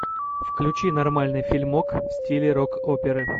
включи нормальный фильмок в стиле рок оперы